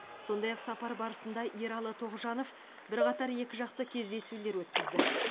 сондай ақ сапар барысында ералы тоғжанов бірқатар екіжақты кездесулер өткізді